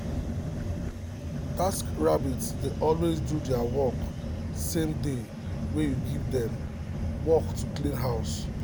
taskrabbit dey always do their work same day wey you give dem work to clean house